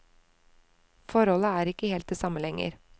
Forholdet er ikke helt det samme lenger.